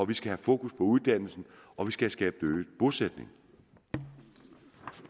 vi skal have fokus på uddannelse og vi skal skabe øget bosætning